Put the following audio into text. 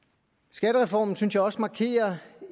skattereformen synes jeg også markerer